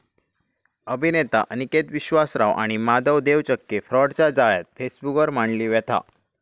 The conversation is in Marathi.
अभिनेता अनिकेत विश्वासराव आणि माधव देवचक्के फ्राॅडच्या जाळ्यात, फेसबुकवर मांडली व्यथा